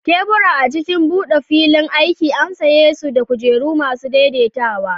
Tebura a cikin buɗe filin aiki an sanye su da kujeru masu daidaitawa.